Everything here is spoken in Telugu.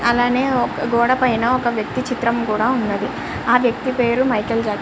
అలాగే ఒక గోడ మీద ఒక వ్యక్తి చిత్రం కూడా ఉన్నది. ఆ వ్యక్తి పేరు మైకల్ జాక్సన్.